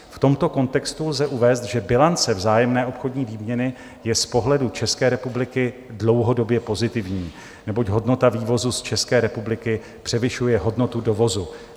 V tomto kontextu lze uvést, že bilance vzájemné obchodní výměny je z pohledu České republiky dlouhodobě pozitivní, neboť hodnota vývozu z České republiky převyšuje hodnotu dovozu.